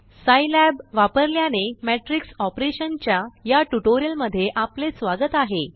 सिलाब वापरल्यानेमैट्रिक्स ऑपरेशनच्या याट्यूटोरियल मध्ये आपलेस्वागत आहे